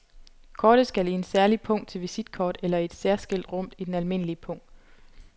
Kortet skal i en særlig pung til visitkort eller i et særskilt rum i den almindelige pung.